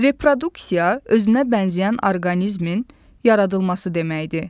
Reproduksiya özünə bənzəyən orqanizmin yaradılması deməkdir.